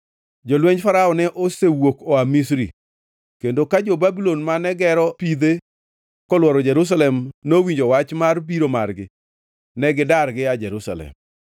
Jolwenj Farao ne osewuok oa Misri, kendo ka jo-Babulon mane gero pidhe kolworo Jerusalem nowinjo wach mar biro margi, ne gidar gia Jerusalem.